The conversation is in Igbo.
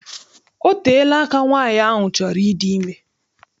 Ọ teela aka nwaanyị ahụ chọrọ ịdị ime.